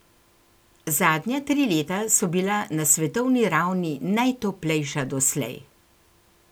Zadnja tri leta so bila na svetovni ravni najtoplejša doslej.